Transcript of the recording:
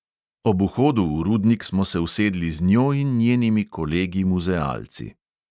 Ob vhodu v rudnik smo se usedli z njo in njenimi kolegi muzealci.